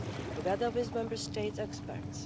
together with Member States' experts.